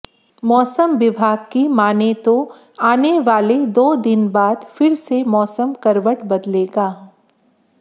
मौसम विभाग की मानें तो आने वाले दो दिन बाद फिर से मौसम करबट बदलेगा